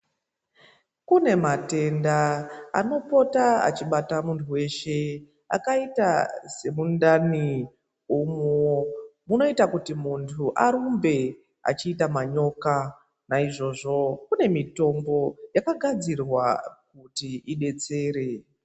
Kune matenda anopota achibata munhu weshe akaita semundani umwu munoita kuti munhu arumbe achiita manyoka naizvozvo kune mitombo yakagadzirwa kuti idetsere.